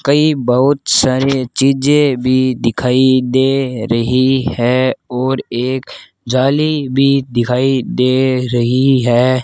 कई बहोत सारे चीजे भी दिखाई दे रही है और एक जाली भी दिखाई दे रही है।